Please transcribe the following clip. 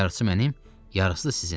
Yarısı mənim, yarısı da sizin.